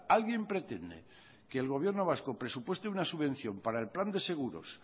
alguien pretende que el gobierno vasco presupueste una subvención para el plan de seguros